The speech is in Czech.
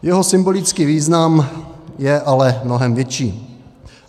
Jeho symbolický význam je ale mnohem větší.